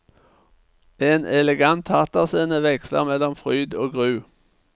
En elegant teaterscene veksler mellom fryd og gru.